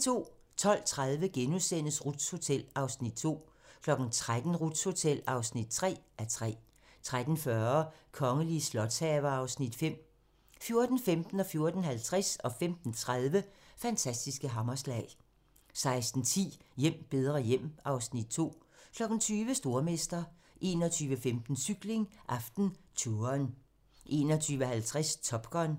12:30: Ruths Hotel (2:3)* 13:00: Ruths Hotel (3:3) 13:40: De kongelige slotshaver (Afs. 5) 14:15: Fantastiske hammerslag 14:50: Fantastiske hammerslag 15:30: Fantastiske hammerslag 16:10: Hjem bedre hjem (Afs. 2) 20:00: Stormester 21:15: Cykling: AftenTouren 21:50: Top Gun